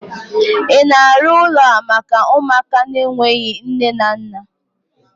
ị na-arụ ụlọ a maka ụmụaka n'enweghi nne na nna?